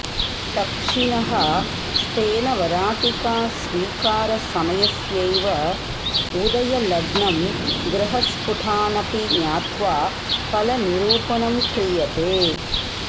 दक्षिणह स्तेन वराटिकास्वीकारसमयस्यैव उदयलग्नं ग्रहस्फुटानपि ज्ञात्वा फलनिरूपणं क्रियते